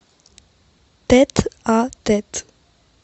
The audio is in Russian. тет а тет